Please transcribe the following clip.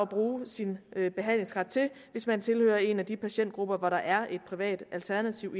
bruge sin behandlingsret til hvis man tilhører en af de patientgrupper hvor der er et privat alternativ